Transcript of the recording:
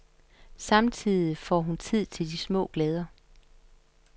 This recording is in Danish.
Samtidig får hun tid til de små glæder.